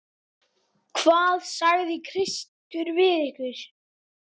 Hvað sagði Kristur við ykkur?